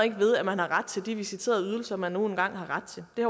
ved at man har ret til de visiterede ydelser man nu engang har ret til det